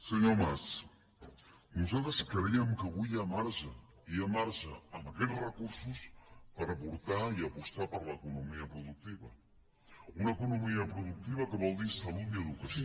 senyor mas nosaltres creiem que avui hi ha marge hi ha marge amb aquests recursos per aportar i apostar per l’economia productiva una economia productiva que vol dir salut i educació